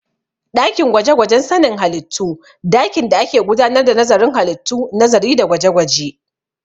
Ɗakin gwaje-gwajen sanin halittu dakin da ake gudanar da nazarin halittu, nazari da gwaje-gwaje